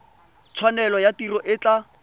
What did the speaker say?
tshwanelo ya tiro e tla